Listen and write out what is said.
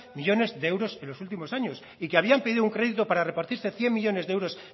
millónes de euros en los últimos años y que habían pedido un crédito para repartirse cien millónes de euros